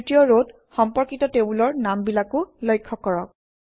তৃতীয় ৰত সম্পৰ্কিত টেবুলৰ নামবিলাকো লক্ষ্য কৰক